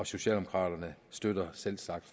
socialdemokraterne støtter selvsagt